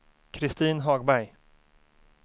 Kristin Hagberg